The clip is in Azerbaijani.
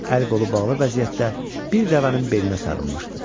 Əl-qolu bağlı vəziyyətdə bir dəvənin belinə sarınmışdı.